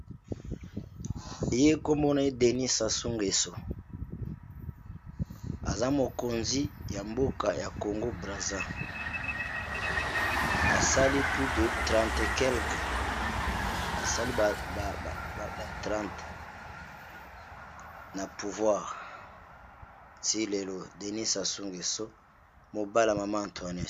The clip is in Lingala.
Naza komona denis sasungeso aza mokonzi ya mboka ya congo brazzaville .